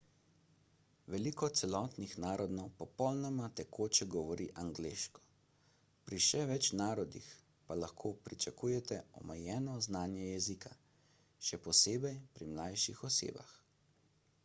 veliko celotnih narodov popolnoma tekoče govori angleško pri še več narodih pa lahko pričakujete omejeno znanje jezika – še posebej pri mlajših osebah